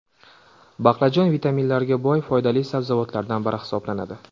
Baqlajon vitaminlarga boy foydali sabzavotlardan biri hisoblanadi.